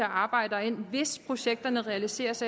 arbejdere ind hvis projekterne realiseres